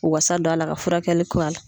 O wasa don a la ka furakɛli k'o la.